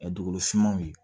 dugukolo finmanw ye